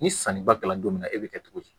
Ni sanniba kɛla don min na e bi kɛ cogo di